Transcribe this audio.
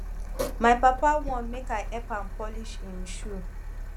my papa wan make i help am polish im shoe